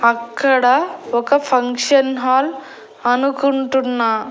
అక్కడ ఒక function hall అనుకుంటున్నా.